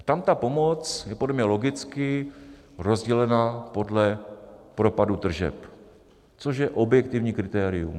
Tam ta pomoc je podle mě logicky rozdělena podle propadu tržeb, což je objektivní kritérium.